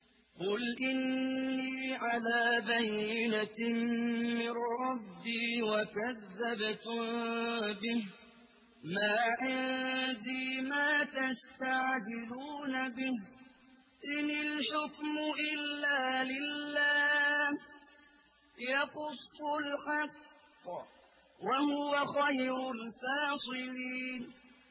قُلْ إِنِّي عَلَىٰ بَيِّنَةٍ مِّن رَّبِّي وَكَذَّبْتُم بِهِ ۚ مَا عِندِي مَا تَسْتَعْجِلُونَ بِهِ ۚ إِنِ الْحُكْمُ إِلَّا لِلَّهِ ۖ يَقُصُّ الْحَقَّ ۖ وَهُوَ خَيْرُ الْفَاصِلِينَ